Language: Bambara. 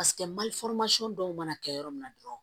Paseke mali dɔw mana kɛ yɔrɔ min na dɔrɔn